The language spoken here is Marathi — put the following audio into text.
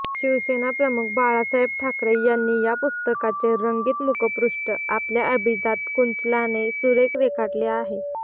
शिवसेनाप्रमुख बाळासाहेब ठाकरे यांनी या पुस्तकाचे रंगीत मुखपृष्ठ आपल्या अभिजात कुंचल्याने सुरेख रेखाटले आहे